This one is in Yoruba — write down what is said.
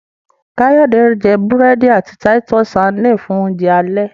Kayode jé burẹdi àti Titus sardines fun Oúnjẹ alẹ́.